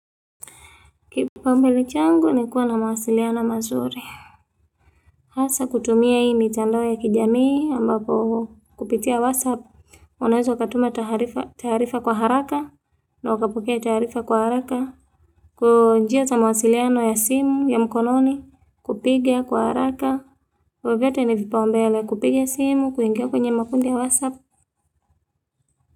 Kipa umbele changu ni kuwa na mawasiliano mazuri. Hasa kutumia hii mitandao ya kijamii ambapo kupitia whatsapp. Unaweza ukatuma taarifa kwa haraka na ukapokea taarifa kwa haraka. Kwa njia za mawasiliano ya simu ya mkononi kupiga kwa haraka. Vivyote ni vipaumbele kupiga simu kuingia kwenye makundi ya whatsapp.